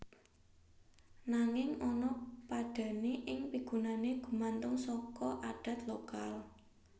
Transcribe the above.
Nanging ana padhané ing pigunané gumantung saka adat lokal